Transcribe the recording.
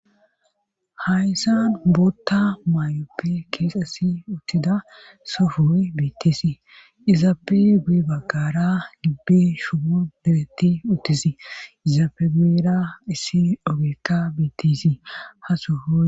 Hayssan bootta mayoppe keexesi uttida sofooy bittisii izaape guye baggara gibbe shumu biretti uttisii izaape guera issi obekka biittisii ha sofo.